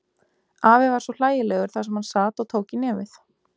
Afi var svo hlægilegur þar sem hann sat og tók í nefið.